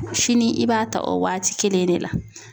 Sini i b'a ta o waati kelen in de la